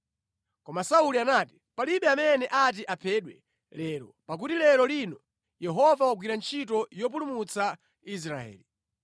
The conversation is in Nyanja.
Koma Sauli anati, “Palibe amene ati aphedwe lero, pakuti lero lino Yehova wagwira ntchito yopulumutsa Israeli.”